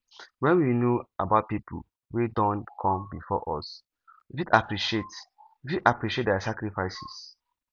when we know about pipo wey don come before us we fit appreciate we fit appreciate their sacrifices